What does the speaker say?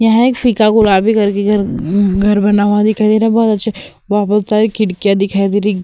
यहाँ एक फीका गुलाबी करके घर म म घर बना हुआ दिखाई देरा बहोत अच्छे वा बहोत सारी खिड़कियां दिखाई देरी।